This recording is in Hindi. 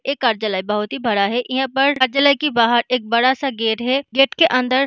एक कारजलाये बहुत ही बड़ा है यहाँ पर कारजलाये के बाहर एक बड़ा सा गेट है गेट के अंदर --